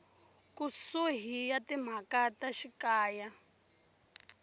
kusuhi ya timhaka ta xikaya